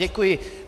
Děkuji.